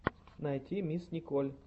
найти мисс николь